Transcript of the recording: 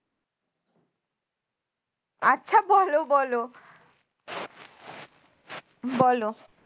আচ্ছা বলো বলো বলো